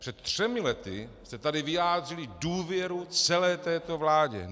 Před třemi lety jste tady vyjádřili důvěru celé této vládě.